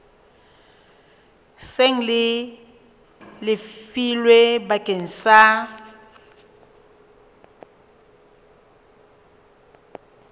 seng le lefilwe bakeng sa